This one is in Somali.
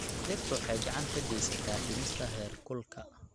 Dhirtu waxay gacan ka geysataa dhimista heerkulka.